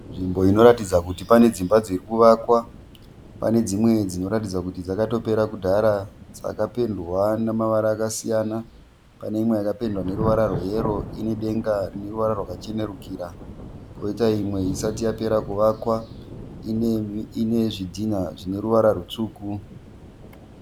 Nzvimbo inoratidza kuti pane dzimba dzirikuvakwa. Pane dzimwe dzinoratidza kuti dzakatopera kudhara, dzakapendwa namavara akasiyana. Pane imwe yakapendwa neruvara rweyero ine denga rineruvara rwakachenurikira. Poita imwe isati yapera kuvakwa, ine zvidhina zvineruvara rwutsvuku.